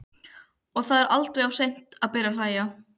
Og það er aldrei of seint að byrja að hlæja.